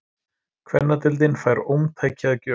Kvennadeildin fær ómtæki að gjöf